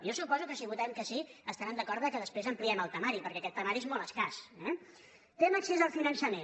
jo suposo que si votem que sí estaran d’acord que després ampliem el temari perquè aquest temari és molt escàs eh tema accés al finançament